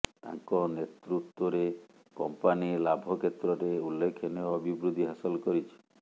ତାଙ୍କ ନେତୃତ୍ୱରେ କମ୍ପାନୀ ଲାଭ କ୍ଷେତ୍ରରେ ଉଲ୍ଲେଖନୀୟ ଅଭିବୃଦ୍ଧି ହାସଲ କରିଛି